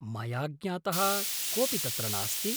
मया ज्ञातः कोऽपि तत्र नास्ति।